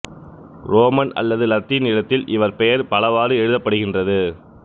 உரோமன் அல்லது இலத்தீன் எழுத்தில் இவர் பெயர் பலவாறு எழுதப்படுகின்றது